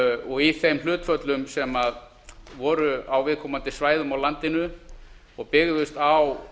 og í þeim hlutföllum sem voru á viðkomandi svæðum á landinu og byggðust á